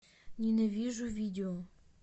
ненавижу видео